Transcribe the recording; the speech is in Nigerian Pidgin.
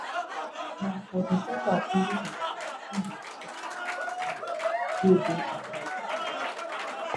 na for december 2025 im bin tok about di energy wey dey inside di album